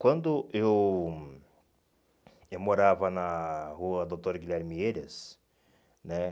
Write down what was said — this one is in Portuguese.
Quando eu... Eu eu morava na rua Doutor Guilherme Eiras, né?